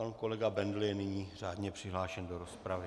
Pan kolega Bendl je nyní řádně přihlášen do rozpravy.